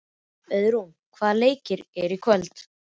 Auðrún, hvaða leikir eru í kvöld?